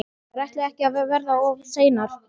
Þær ætluðu ekki að verða of seinar.